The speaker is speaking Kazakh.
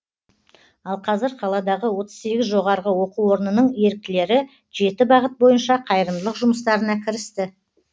ал қазір қаладағы отыз сегіз жоғарғы оқу орнының еріктілері жеті бағыт бойынша қайырымдылық жұмыстарына кірісті